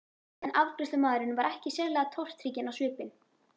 En afgreiðslumaðurinn var ekkert sérlega tortrygginn á svipinn.